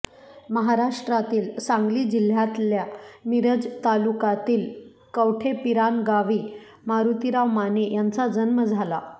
महाराष्ट्रातील सांगली जिल्ह्यातल्या मिरज तालुकातील कवठेपिरान गावी मारुतीराव माने यांचा जन्म झाला